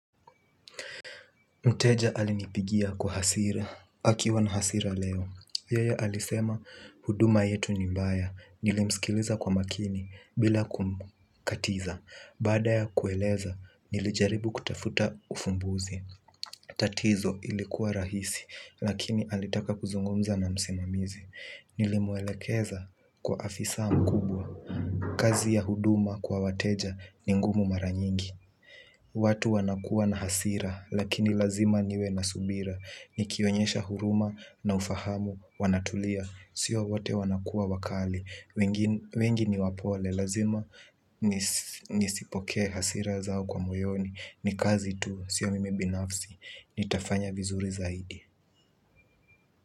Mteja alinipigia kwa hasira, akiwa na hasira leo. Yeye alisema huduma yetu ni mbaya, nilimsikiliza kwa makini bila kumkatiza. Baada ya kueleza, nilijaribu kutafuta ufumbuzi. Tatizo ilikuwa rahisi, lakini alitaka kuzungumza na msimamizi. Nilimwelekeza kwa afisa mkubwa. Kazi ya huduma kwa wateja ni ngumu mara nyingi. Watu wanakuwa na hasira, lakini lazima niwe na subira. Nikionyesha huruma na ufahamu, wanatulia. Sio wote wanakuwa wakali. Wengi ni wapole, lazima nisi nizipokee hasira zao kwa moyoni. Ni kazi tu, sio mimi binafsi, nitafanya vizuri zaidi.